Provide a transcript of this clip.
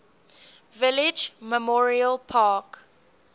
village memorial park